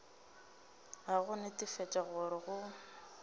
a go netefatša gore go